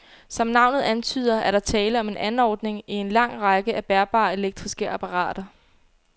Som navnet antyder, er der tale om en anordning i en lang række af bærbare elektriske apparater.